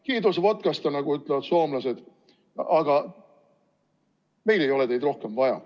Kiitos vodkasta, nagu ütlevad soomlased, aga meil ei ole teid rohkem vaja.